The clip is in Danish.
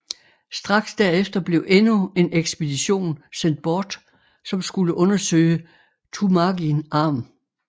Straks derefter blev endnu en ekspedition sendt bort som skulle undersøge Turnagain Arm